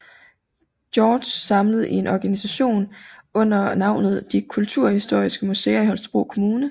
George samlet i én organisation under navnet De Kulturhistoriske Museer i Holstebro Kommune